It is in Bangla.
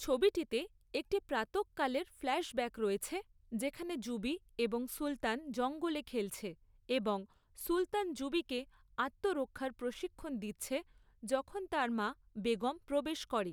ছবিটিতে একটি প্রাতঃকালের ফ্ল্যাশব্যাক রয়েছে যেখানে যুবি এবং সুলতান জঙ্গলে খেলছে এবং সুলতান যুবিকে আত্মরক্ষার প্রশিক্ষণ দিচ্ছে যখন তার মা, বেগম প্রবেশ করে।